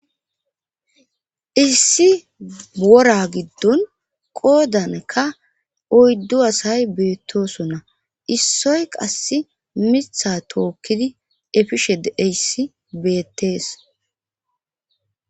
iIssi wora giddon qoodanka oyddu asay beettosona issoy qass mitha tookkidi efished eyssi beettees